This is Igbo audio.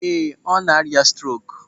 Ee, ọ na-arịa strok.